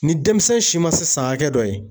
Ni denmisɛn si ma se san hakɛ dɔ ye.